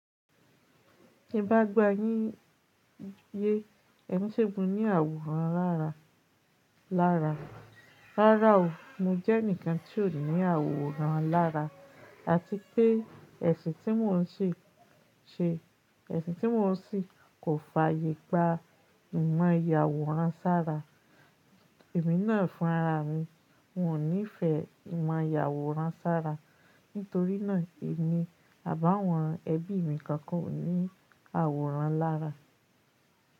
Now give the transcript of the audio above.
Ti n bá gbà yín yé, èmi ṣẹ́gun ní àwòrán lára. Rárá o, mo jẹ́ ẹnìkan tí ó ní àwòrán lára àti pé ẹ̀sìn tí mò ń ṣe, ẹ̀sìn tí mò ń ṣì kò fààyè gba ìmọ̀ ìyàwòrán sára. Èmi náà fún ara mi, ng ò nífẹ̀ẹ́ kìn mọ̀ ìyàwòrán sára. Nítorínà èmi, àbí áwon ẹbí mi kankan ò ní àwòrán lára.